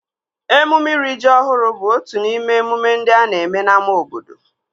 Emume iri ji ọhụrụ bụ otu n'ime emume ndị a na-eme n'ámá obodo